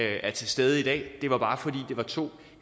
er til stede i dag det var bare fordi det var to